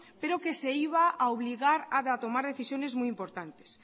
pero que se iba a obligar a tomar decisiones muy importantes